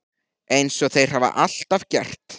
Eins og þeir hafa alltaf gert.